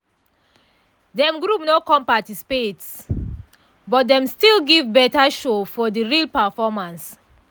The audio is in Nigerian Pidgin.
dem group no come practice but dem still give better show for de real performance.